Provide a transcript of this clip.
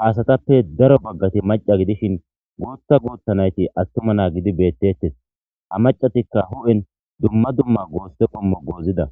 haasatappe daro baggati maca gidishin gootta guuttanayti attuma na gidi beettettes a macatikka hu7en dumma dumma goosse qommo goozida